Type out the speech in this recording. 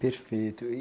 Perfeito. E